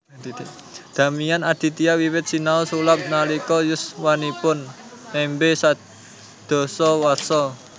Damian Aditya wiwit sinau sulap nalika yuswanipun nembe sedasa warsa